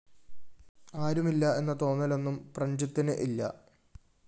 ആരും ഇല്ല എന്ന തോന്നലൊന്നും പ്രഞ്ജിത്തിന്‌ ഇല്ല